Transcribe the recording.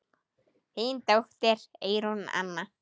Þín dóttir, Eyrún Anna.